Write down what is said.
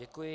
Děkuji.